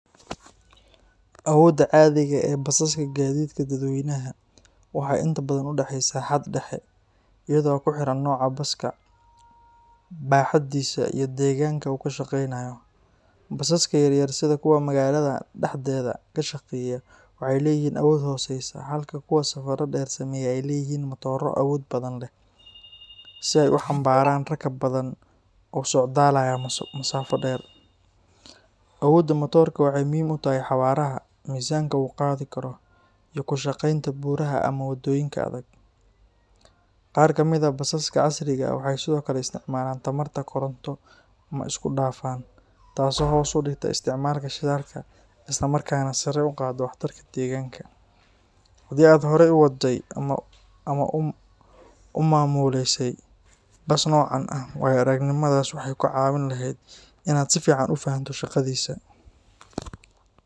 Awoodda caadiga ah ee basaska gaadiidka dadweynaha waxay inta badan u dhaxaysaa xad dhexe, iyadoo ku xiran nooca baska, baaxaddiisa, iyo deegaanka uu ka shaqeynayo. Basaska yar-yar sida kuwa magaalada dhexdeeda ka shaqeeya waxay leeyihiin awood hooseysa, halka kuwa safarro dheer sameeya ay leeyihiin matooro awood badan leh si ay u xambaaraan rakaab badan oo u socdaalaya masaafo dheer. Awoodda matoorka waxay muhiim u tahay xawaaraha, miisaanka uu qaadi karo, iyo ku shaqeynta buuraha ama wadooyinka adag. Qaar ka mid ah basaska casriga ah waxay sidoo kale isticmaalaan tamarta koronto ama isku-dhafan, taasoo hoos u dhigta isticmaalka shidaalka isla markaana sare u qaadda waxtarka deegaanka. Haddii aad horey u waday ama u maamulaysay bas noocan ah, waayo-aragnimadaas waxay kaa caawin lahayd in aad si fiican u fahanto shaqadiisa.